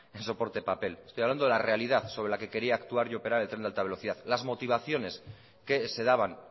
en soporte papel estoy hablando de la realidad sobre la que quería actuar y operar el tren de alta velocidad las motivaciones que se daban